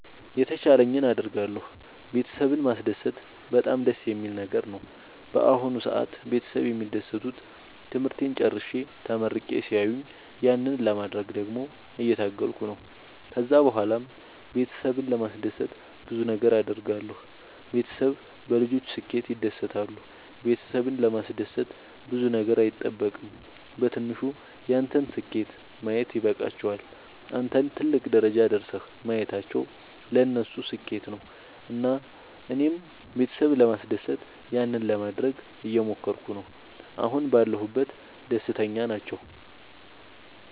የተቻለኝን አደርጋለሁ ቤተሰብን ማስደሰት በጣም ደስ የሚል ነገር ነው። በአሁን ሰአት ቤተሰብ የሚደሰቱት ትምህርቴን ጨርሼ ተመርቄ ሲያዩኝ ያንን ለማድረግ ደግሞ እየታገልኩ ነው። ከዛ ብኋላም ቤተሰብን ለማስደሰት ብዙ ነገር አድርጋለሁ። ቤተሰብ በልጆች ስኬት ይደሰታሉ ቤተሰብን ለማስደሰት ብዙ ነገር አይጠበቅም በትንሹ ያንተን ስኬት ማየት ይበቃቸዋል። አንተን ትልቅ ደረጃ ደርሰህ ማየታቸው ለነሱ ስኬት ነው። እና እኔም ቤተሰብ ለማስደሰት ያንን ለማደረግ እየሞከርኩ ነው አሁን ባለሁበት ደስተኛ ናቸው።